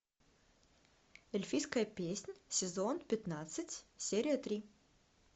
эльфийская песнь сезон пятнадцать серия три